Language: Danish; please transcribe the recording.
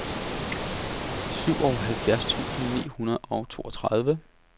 syvoghalvfjerds tusind ni hundrede og toogtredive